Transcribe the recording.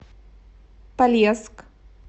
полесск